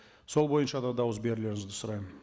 сол бойынша да дауыс берулеріңізді сұраймын